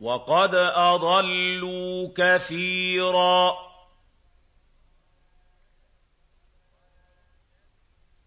وَقَدْ أَضَلُّوا كَثِيرًا ۖ